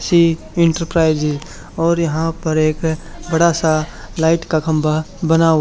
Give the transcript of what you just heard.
सी enterprises और यहां पर एक बड़ा सा लाइट का खंबा बना--